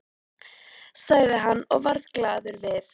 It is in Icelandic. sagði hann og varð glaður við.